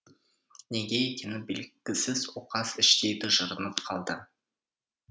неге екені белгісіз оқас іштей тыжырынып қалды